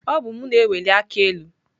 Ọ bụ mụ na-eweli aka elu.